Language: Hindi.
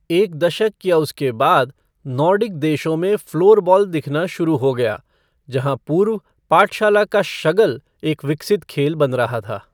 एक दशक या उसके बाद, नॉर्डिक देशों में फ़्लोरबॉल दिखना शुरू हो गया, जहाँ पूर्व पाठशाला का शगल एक विकसित खेल बन रहा था।